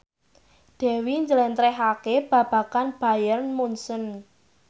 Dewi njlentrehake babagan Bayern Munchen